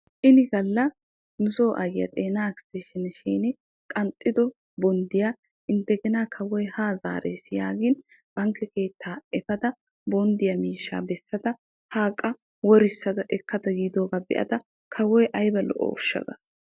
Ini galla nu so aayiyaa xeena ekistensheniyaa shin qanxxido bonddiyaa indegena kawoy ha zaarees yaagin bankke keettaa efada bonddiyaa miishshaa bessada ha qa worissada ekkada yiidoga beada kawoy qa ayba lo'osha gaas.